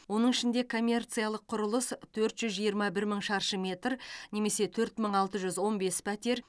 оның ішінде коммерциялық құрылыс төрт жүз жиырма бір мың шаршы метр немесе төрт мың алты жүз он бес пәтер